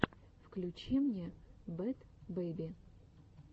включи мне бэд бэби